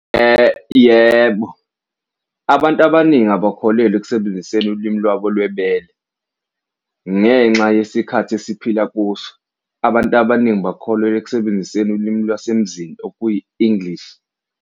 Yebo, abantu abaningi abakholelwa ekusebenziseni ulimi lwabo lwebele ngenxa yesikhathi esiphila kuso, abantu abaningi bakholelwa ekusebenziseni ulimi lwasemzini okuyi-English.